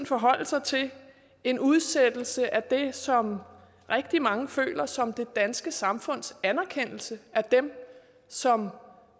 forholde sig til en udsættelse af det som rigtig mange føler som det danske samfunds anerkendelse af dem som